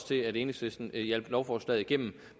til at enhedslisten hjalp lovforslaget igennem